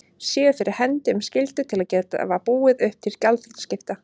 séu fyrir hendi um skyldu til að gefa búið upp til gjaldþrotaskipta.